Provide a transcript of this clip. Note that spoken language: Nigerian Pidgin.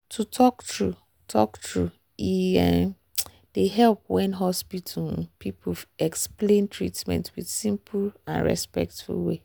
to talk true talk true e um dey help when hospital um people explain treatment with simple and respectful way.